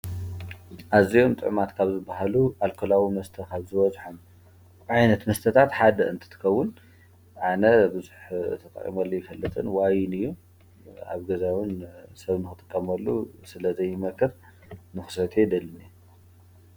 ኣዚዮም ጥዕማት ካብ ዝበሃሉ ኣልከላዊ መስተኻብዝ ወዙኃም ዓይነት መስተታት ሓደ እንትትከቡን ኣነ ብዙኅ ተጣዕሞሉ ይፈለጥን ዋይን እዩ ኣብ ገዛዊን ሰብናኹ ጥቀሞሉ ስለ ዘይመቀር ንኽሰት የደልኒ።